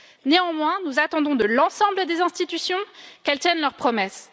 Néanmoins, nous attendons de l'ensemble des institutions qu'elles tiennent leurs promesses.